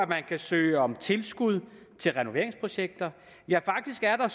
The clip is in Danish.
man kan søge om tilskud til renoveringsprojekter ja faktisk er der